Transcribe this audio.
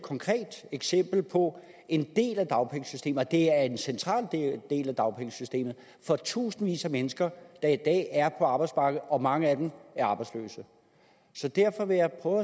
konkret eksempel på en del af dagpengesystemet og det er en central del af dagpengesystemet for tusindvis af mennesker der i dag er på arbejdsmarkedet og mange af dem er arbejdsløse derfor vil jeg prøve